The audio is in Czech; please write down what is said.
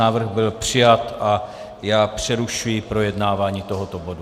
Návrh byl přijat a já přerušuji projednávání tohoto bodu.